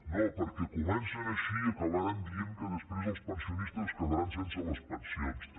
no perquè comencen així i acabaran dient que després els pensionistes es quedaran sense les pensions també